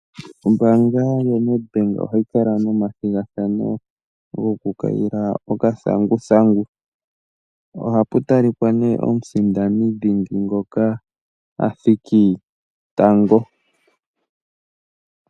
Ombaanga yoNEDBANK ohayi kala nomathigathano goku kayila okathanguthangu ohapu talika ihe omusindani ngoka a thiki tango.